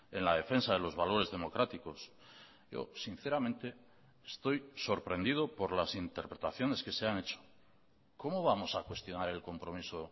en la defensa de los valores democráticos yo sinceramente estoy sorprendido por las interpretaciones que se han hecho cómo vamos a cuestionar el compromiso